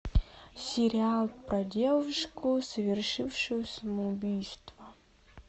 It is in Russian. сериал про девушку совершившую самоубийство